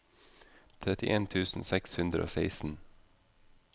trettien tusen seks hundre og seksten